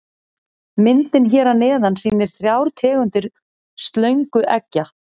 Myndin hér að neðan sýnir þrjár tegundir slöngueggja.